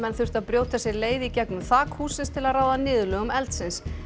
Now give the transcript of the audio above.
þurftu að brjóta sér leið í gegnum þak hússins til að ráða niðurlögum eldsins